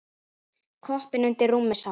Koppinn undir rúmi sá.